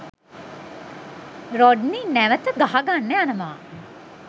Rodney නැවත ගහගන්න යනවා.